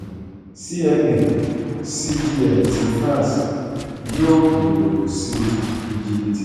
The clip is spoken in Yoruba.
cma cgm ti france yóò gbòòrò sí íjíbítì